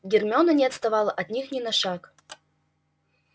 гермиона не отставала от них ни на шаг